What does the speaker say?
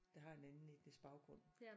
Der har en anden etnisk baggrund